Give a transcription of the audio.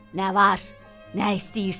nə var, nə istəyirsən?"